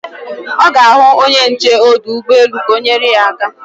Ọ ga-ahụ onye nche ọdụ ụgbọelu ka o nyere ya aka